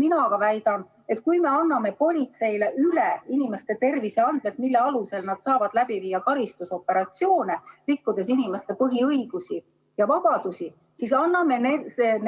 Mina aga väidan, et kui me anname politseile üle inimeste terviseandmed, mille alusel nad saavad läbi viia karistusoperatsioone, rikkudes inimeste põhiõigusi ja -vabadusi, siis me anname